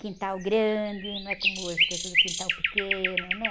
Quintal grande, não é como hoje, que é tudo quintal pequeno, né?